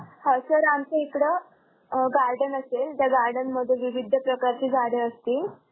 आह sir आमच्या इकडं अं garden असेल त्या garden मध्ये विविध प्रकारचे झाडे असतील.